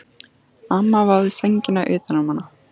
Amma vafði sænginni utan um hana.